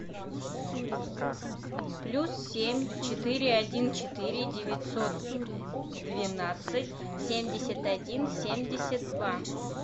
плюс семь четыре один четыре девятьсот двенадцать семьдесят один семьдесят два